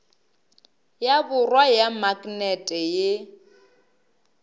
ya borwa ya maknete ye